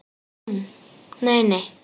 Hún: Nei nei.